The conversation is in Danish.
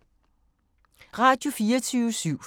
Radio24syv